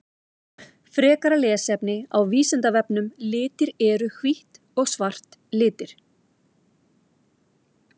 Frekara lesefni á Vísindavefnum Litir Eru hvítt og svart litir?